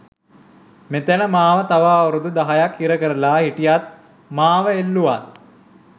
මෙතැන මාව තව අවුරුදු දහයක්‌ හිරකරලා හිටියත් මාව එල්ලුවත්